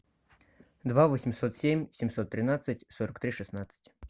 два восемьсот семь семьсот тринадцать сорок три шестнадцать